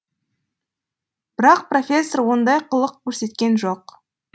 бірақ профессор ондай қылық көрсеткен жоқ